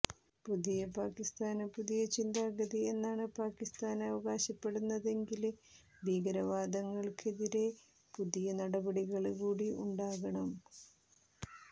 പുതിയ പാകിസ്ഥാന് പുതിയ ചിന്താഗതി എന്നാണ് പാകിസ്ഥാന് അവകാശപ്പെടുന്നതെങ്കില് ഭീകരവാദികള്ക്കെതിരെ പുതിയ നടപടികള് കൂടി ഉണ്ടാകണം